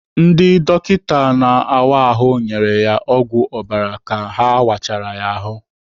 Ndị dọkịta na-áwá ahụ nyere ya ọgwụ ọbara ka ha wachara ya ahụ.